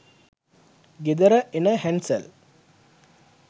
ගෙදර එන හැන්සල්